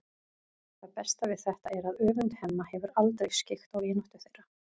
Það besta við þetta er að öfund Hemma hefur aldrei skyggt á vináttu þeirra.